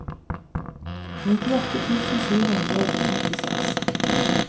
nittiåtte tusen sju hundre og trettiseks